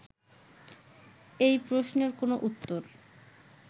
এই প্রশ্নের কোনো উত্তর